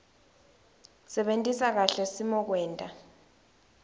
sebentisa kahle simokwenta